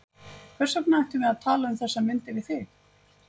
Hvers vegna ættum við að tala um þessar myndir við þig?